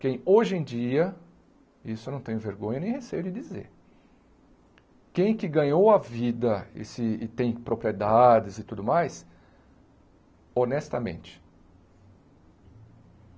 Quem hoje em dia, isso eu não tenho vergonha nem receio de dizer, quem que ganhou a vida esse e tem propriedades e tudo mais, honestamente.